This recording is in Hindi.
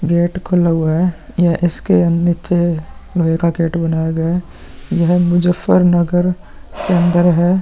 गेट खुला हुआ है | यह इसके अ नीचे दूसरा गेट बनाया गया है | यह मुज्जफरनगर के अंदर है |